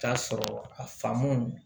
Taa sɔrɔ a famu